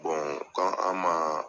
k'a an man